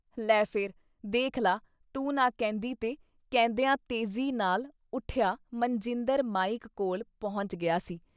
’ਲੈ ਫਿਰ ਦੇਖ ਲਾ ਤੂੰ ਨਾ ਕਹਿੰਦੀਂ ਤੇ —ਕਹਿੰਦਿਆਂ ਤੇਜ਼ੀ ਨਾਲ ਉੱਠਿਆ ਮਨਜਿੰਦਰ ਮਾਈਕ ਕੋਲ਼ ਪਹੁੰਚ ਗਿਆ ਸੀ।